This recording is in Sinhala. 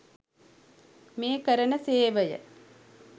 මේ කරන සේවය